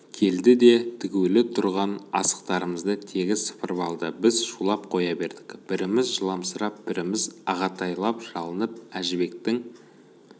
келді де тігулі тұрған асықтарымызды тегіс сыпырып алды біз шулап қоя бердік біріміз жыламсырап біріміз ағатайлап жалынып әжібектің